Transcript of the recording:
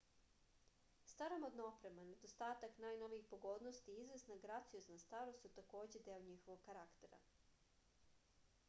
staromodna oprema nedostatak najnovijih pogodnosti i izvesna graciozna starost su takođe deo njihovog karaktera